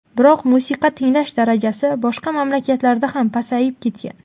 Biroq musiqa tinglash darajasi boshqa mamlakatlarda ham pasayib ketgan.